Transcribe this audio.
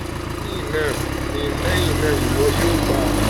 lẹhinna n lẹhinna ni iwọ um yoo gba